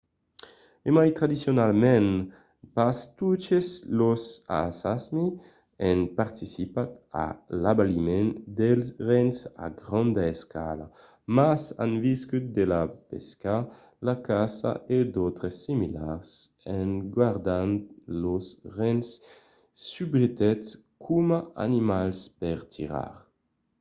e mai tradicionalament pas totes los samis an participat a l'abaliment dels rens a granda escala mas an viscut de la pesca la caça e d'autres similars gardant los rens subretot coma animals per tirar